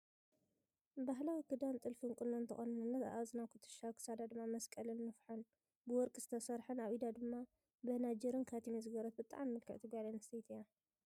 ባህላዊ ክዳን ጥልፊን ቁኖን ዝተቆነነት ኣብ እዝና ኩትሻ ኣብ ክሳዳ ድማ መስቀልን ንፍሖን ብወርቂ ዝተሰረሓን ኣብ ኢዳ ድማ በናጅርን ካቲምን ዝገበረት ብጣዕሚ ምልክዕቲ ጓል ኣንስተቲ እያ።